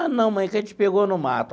Ah, não, mãe, é que a gente pegou no mato.